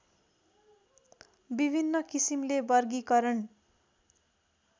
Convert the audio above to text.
विभिन्न किसिमले वर्गीकरण